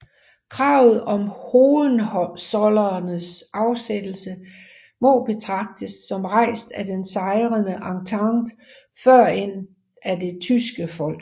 Kravet om Hohenzollernes afsættelse må betragtes som rejst af den sejrende entente førend af det tyske folk